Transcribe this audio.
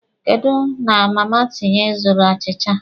Kedụ na Mama Tinye ị zụrụ achịcha a?